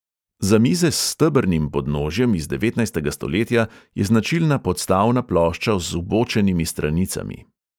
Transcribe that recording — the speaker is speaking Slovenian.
Za mize s stebrnim podnožjem iz devetnajstega stoletja je značilna podstavna plošča z vbočenimi stranicami.